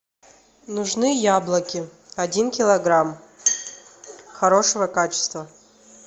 нужны яблоки один килограмм хорошего качества